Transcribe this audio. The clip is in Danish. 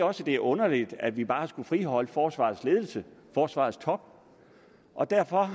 også det er underligt at vi bare skulle friholde forsvarets ledelse forsvarets top og derfor